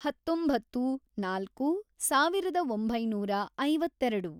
ಹತ್ತೊಂಬತ್ತು, ನಾಲ್ಕು, ಸಾವಿರದ ಒಂಬೈನೂರ ಐವತ್ತೆರೆಡು